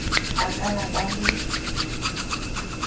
a ka la ba le